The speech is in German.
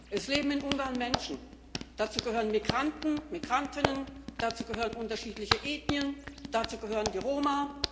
Es leben in Ungarn Menschen, dazu gehören Migranten und Migrantinnen, dazu gehören unterschiedliche Ethnien, dazu gehören die Roma.